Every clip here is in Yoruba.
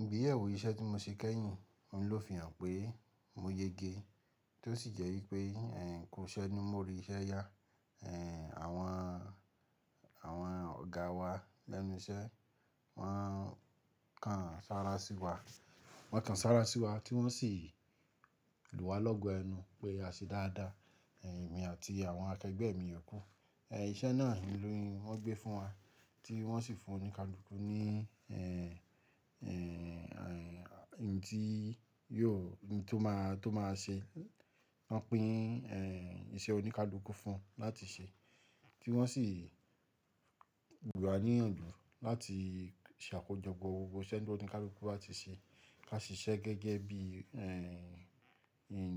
Igbeyewo iṣẹ́ tí mo ṣe kẹ́yìn, ohun ló fihàn pé mo yege, tó sì jẹ́ wípé ẹ̀hn ku iṣẹ́ ni mo rí iṣẹ́ ya. Ẹ̀hn, àwọn, àwọn ọ̀gáa wa lẹ́nu iṣẹ́ máa ń kàn sára sí wa, wọ́n kan sára sí wa tí wọ́n sì lù wá lọ́gọ ẹnu pé a ṣe dáadáa, ẹ̀hn, èmi àti àwọn akẹgbẹ́ mi yòkú. Ẹhn, iṣẹ́ náà ni wọn gbé fún wa tí wọ́n sì fún oníkálukú ní, ẹ́hn, ẹ́hn, ẹ́hn, ohun tí yóò, ohun tó máa, tó máa ṣe, wọ́n pín, ẹ́hn, iṣẹ́ oníkálukú fún un láti ṣe, tí wọ́n sì lù wá níyànjú láti ṣàkójọpọ̀ gbogbo iṣẹ́ tó ní oníkálukú báti ṣe. Ká sì ṣe gẹ́gẹ́ bí, ẹ́hn, ẹ́hn,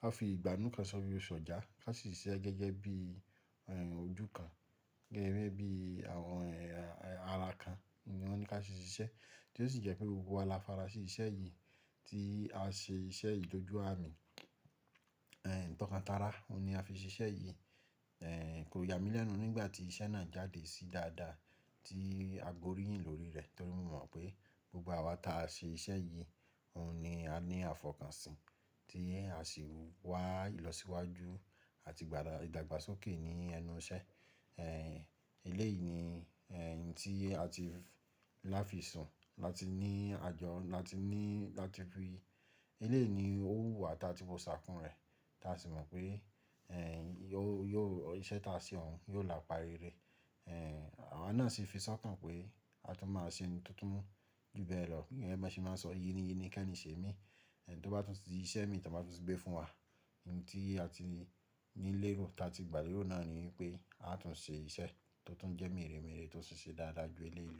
ká fi ìgbánú kan sọ bí sọ̀já. Ká sì siṣe gẹ́gẹ́ bí, ẹ́hn, ojú kan, gége bí àwọn ẹ́hn, ẹ́hn, ara kan ni wọ́n ní ká sì ṣe iṣẹ́. Tó sì jẹ́ pé gbogbo wa la fara sí iṣẹ́ yìí tí a ṣe iṣẹ́ yi dọ́jú àmì, ẹ́hn, tọkan tara, òun ni a fi ṣe iṣẹ́ yìí. Ẹ́hn, kò yà mí lẹ́nu nígbà tí iṣẹ́ náà jáde sí dáadáa tí a gbóríyìn lórí rẹ̀ torí wọ́n mọ̀ pé gbogbo awa ta ṣe iṣẹ́ yìí, òun ni a ní àfọ̀kànṣín tí a sì wá ìlọsíwájú àti dàgbá, ìdàgbàsókè ní ẹnu iṣẹ́. Ẹ́hn, eléyìí ni, ẹ́hn, ohun tí a ti láfi sùn láti ní àjọ, láti ní, láti rí, eléyìí ni ó wù wá tá tí wo ṣaàkún rẹ̀ tá sì mọ̀ pé, ẹ́hn, yóò, yóò iṣẹ́ tá a ṣe òun yóò la pa rere. Ẹ́hn, àwa náà sì fi sọ́kàn pé a tún máa ṣe ohun tuntun jù bẹ́ẹ̀ lọ. Gẹgẹ bọ ṣe máa n sọ, yin ni, yín ni kí ẹ ní ṣe mí. Ẹhn, tó bá tún di iṣẹ́ mi tó bá tún gbé fún wa, hun tí a ti ní lérò, ta ti gbà lérò náà ni wipé a tún ṣe iṣẹ́ tó tún jẹ́ mèremère tó tun ṣe dáadáa ju eléyìí lọ.